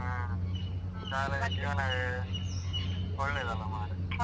ಹಾ . ಒಳ್ಳೇದಲ್ಲ ಮಾರ್ರೆ.